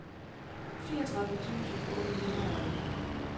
fireogtredive tusind otte hundrede og elleve